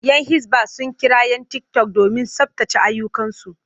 Yan hisba sun kira 'yan tiktok domin tsabtace ayyukansu.